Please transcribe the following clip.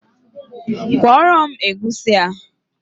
Kwọrọ m egusi a